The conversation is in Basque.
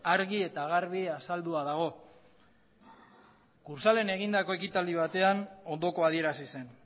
argi eta garbi azaldua dago kursaalen egindako ekitaldi batean ondokoa adierazi zen